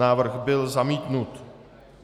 Návrh byl zamítnut.